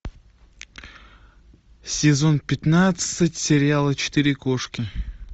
сезон пятнадцать сериала четыре кошки